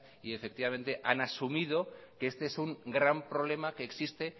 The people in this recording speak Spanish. y han asumido que este es un gran problema que existe